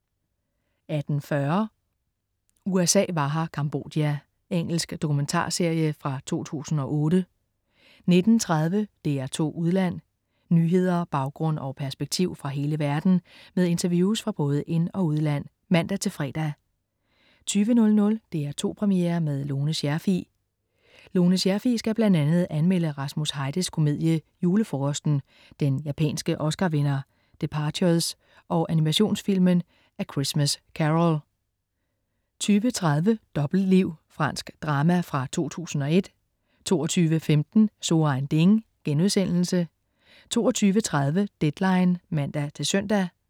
18.40 USA var her, Cambodja. Engelsk dokumentarserie fra 2008 19.30 DR2 Udland. Nyheder, baggrund og perspektiv fra hele verden med interviews fra både ind- og udland (man-fre) 20.00 DR2 Premiere med Lone Scherfig. Lone Scherfig skal bl.a. anmelde Rasmus Heides komedie "Julefrokosten", den japanske Oscar-vinder "Departures" og animationsfilmen "A Christmas Caroll" 20.30 Dobbeltliv. Fransk drama fra 2001 22.15 So ein Ding* 22.30 Deadline (man-søn)